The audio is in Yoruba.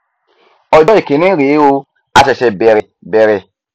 ọjọ ìkíní rèé o a ṣẹṣẹ bẹrẹ bẹrẹ